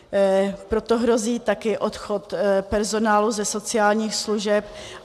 Proto hrozí také odchod personálu ze sociálních služeb.